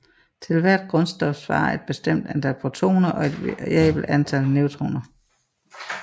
Til hvert grundstof svarer et bestemt antal protoner og et variabelt antal neutroner